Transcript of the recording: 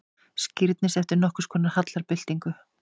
Skírnis eftir nokkurskonar hallarbyltingu.